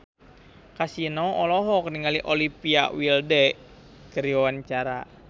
Kasino olohok ningali Olivia Wilde keur diwawancara